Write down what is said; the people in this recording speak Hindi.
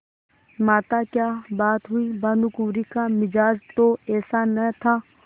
माताक्या बात हुई भानुकुँवरि का मिजाज तो ऐसा न था